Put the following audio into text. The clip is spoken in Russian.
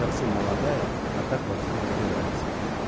совсем молодая а так во всем разбирается